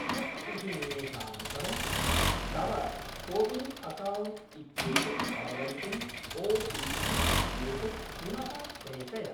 षष्टिः निमेषानन्तरं तव कोविन् अकौण्ट् इत्येतत् अवगन्तुम् ओटिपि इत्येतत् पुनः प्रेषय